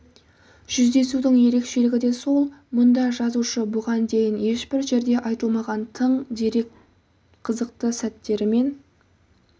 жүздесудің ерекшелігі де сол мұнда жазушы бұған дейін ешбір жерде айтылмаған тың дерек қызықты сәттерімен